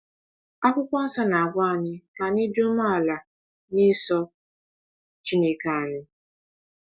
Akwụkwọ Nsọ na-agwa anyị ka anyị ‘dị umeala n’iso Chineke anyị.’